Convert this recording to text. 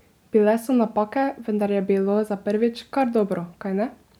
Bile so napake, vendar je bilo za prvič kar dobro, kajne?